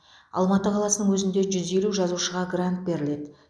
алматы қаласының өзінде жүз елу жазушыға грант беріледі